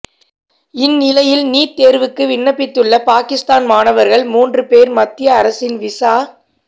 இந்நிலையில் நீட் தேர்வுக்கு விண்ணப்பித்துள்ள பாகிஸ்தான் மாணவர்கள் மூன்று பேர் மத்திய அரசின் விசா